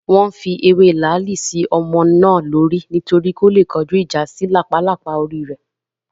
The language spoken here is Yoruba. Wọ́n fi ewé làálì sí ọmọ náà lórí nítorí kó le kọjúìjà sí làpálàpá orí rẹ̀